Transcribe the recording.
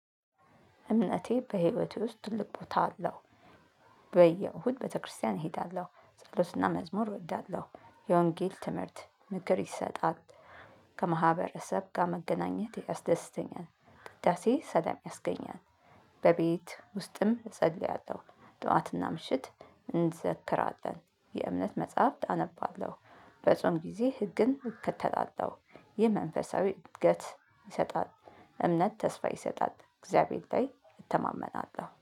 እምነቴ በህይወቴ ውስጥ ትልቅ ቦታ አለው። በየእሁድ ቤተክርስቲያን እሄዳለሁ ጸሎትና መዝሙር እወዳለሁ የወንጌል ትምህርት ምክር ይሰጣል። ከማህበረሰብ ጋር መገናኘት ያስደስተኛል ውዳሴ ሰላም ያስገኛል። በቤት ውስጥም እጸልያለሁ ጠዋት እና ምሽት እንዘክራለን የእምነት መጸሃፍ አነባለሁበጾም ግዜ ህግን እከተላለሁ። ይህ መንፈሳዊ እድገት ይሰጣል። እምነት ተስፋ ይሰጣል እግዚያብሄር ላይ እተማመናለሁ